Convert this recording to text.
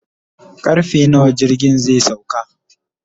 karfe nawa jirgin zai sauka